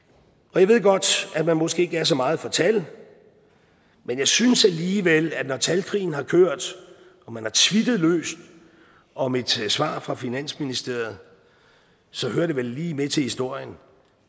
jeg ved godt at man måske ikke er så meget for tal men jeg synes alligevel at når talkrigen har kørt og man har tweetet løs om et svar fra finansministeriet så hører det vel lige med til historien